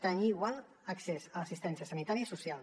tenir igual accés a l’assistència sanitària i social